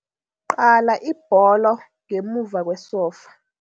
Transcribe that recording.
Qala ibholo ngemuva kwesofa.